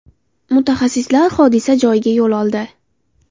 Mutaxassislar hodisa joyiga yo‘l oldi.